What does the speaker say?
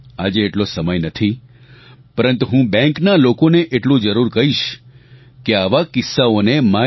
આજે એટલો સમય નથી પરંતુ હું બેંકના લોકોને એટલું જરૂર કહીશ કે આવા કિસ્સાઓને MyGov